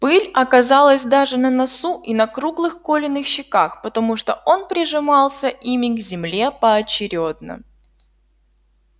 пыль оказалась даже на носу и на круглых колиных щеках потому что он прижимался ими к земле поочерёдно